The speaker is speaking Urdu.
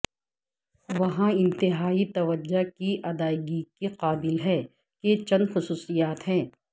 وہاں انتہائی توجہ کی ادائیگی کے قابل ہیں کہ چند خصوصیات ہیں